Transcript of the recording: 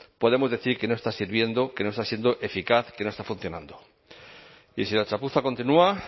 podemos decir que no está sirviendo que no está siendo eficaz que no está funcionando y si la chapuza continúa